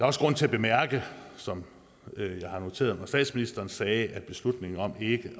også grund til at bemærke som jeg har noteret mig statsministeren sagde at beslutningen om ikke